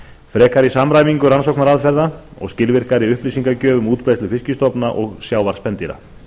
frekari samræmingu rannsóknaraðferða og skilvirkari upplýsingagjöf um útbreiðslu fiskstofna og sjávarspendýra